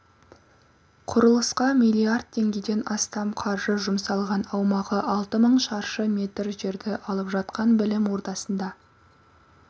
құрлысқа миллиард теңгеден астам қаржы жұмсалған аумағы алты мың шаршы метр жерді алып жатқан білім ордасында